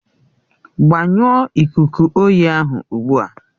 Gbanyụọ ikuku oyi ahụ ugbu a